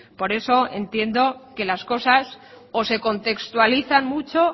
por eso entiendo que las cosas o se contextualizan mucho